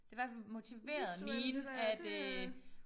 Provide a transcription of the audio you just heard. Det i hvert fald motiveret mine at øh